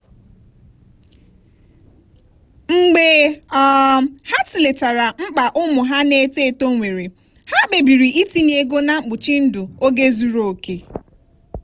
mgbe um ha tụlechara mkpa ụmụ ha na-eto eto nwere ha kpebiri itinye ego na mkpuchi ndụ oge zuru oke.